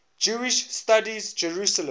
jewish studies jerusalem